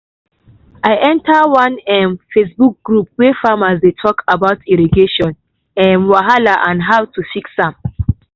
i enter one um facebook group wey farmers dey talk about irrigation um wahala and how to fix am.